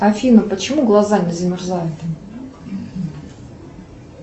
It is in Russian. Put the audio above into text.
афина почему глаза не замерзают